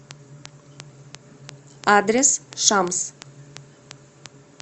адрес шамс